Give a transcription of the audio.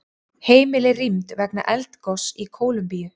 Heimili rýmd vegna eldgoss í Kólumbíu